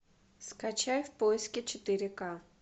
скачай в поиске четыре ка